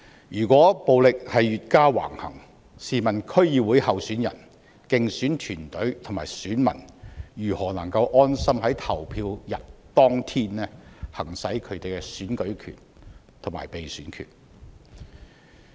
如果暴力越加橫行，試問區議會候選人、競選團隊及選民如何能夠安心在投票日行使他們的選舉權和被選權？